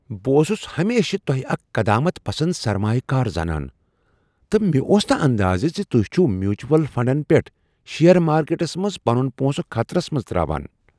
بہٕ اوسُس ہمیشہٕ تۄہہ اکھ قدامت پسند سرمایہ کار زانان تہٕ مےٚ اوس نہٕ اندازٕہ ز تہۍ چھو میوچول فنڈن پیٹھ شیئر مارکیٹس منٛز پنن پونسہٕ خطرس منز تراوان۔